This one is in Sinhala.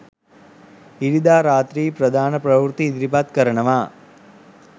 ඉරිදා රාත්‍රි ප්‍රධාන ප්‍රවෘත්ති ඉදිරිපත් කරනවා